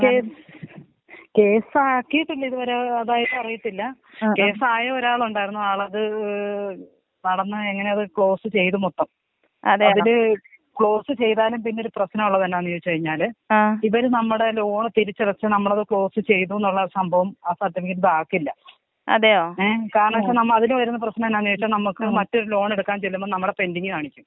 Case കേസാക്കിയിട്ടില്ല ഇത് വരെ അതായത് അറിയത്തില്ല കേസായ ഒരാളുണ്ടായിരുന്നു ആളത് നടന്ന് എങ്ങനെയോ അത് ക്ലോസ് ചെയ്തു മൊത്തം. അതില് ക്ലോസ് ചെയ്താലും പിന്നെ ഒരു പ്രശ്നമുള്ളത് എന്താന്ന് വെച്ചാല് ഇവര് നമ്മടെ ലോൺ തിരിച്ചടച്ച് നമ്മളത് ക്ലോസ് ചെയ്തുന്നുള്ളത് സംഭവം ആ സർട്ടിഫിക്കറ്റ് ഇതാക്കില്ല. ഏ കാരണം എന്താന്ന് വെച്ച അതില് വരുന്ന പ്രശ്നം എന്താന്ന് വെച്ച നമുക്ക് മറ്റൊരു ലോൺ എടുക്കാൻ ചെല്ലുംമ്പോ നമ്മളത് പെന്റിങ്ങ് കാണിക്കും.